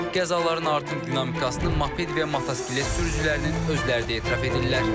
Qəzaların artım dinamikasını moped və motosiklet sürücülərinin özləri də etiraf edirlər.